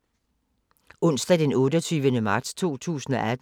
Onsdag d. 28. marts 2018